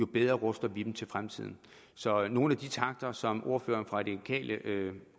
bedre ruster vi dem til fremtiden så nogle af de takter som ordføreren fra de radikale